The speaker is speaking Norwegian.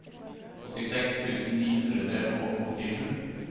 åttiseks tusen ni hundre og åttisju